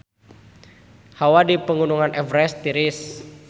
Hawa di Pegunungan Everest tiris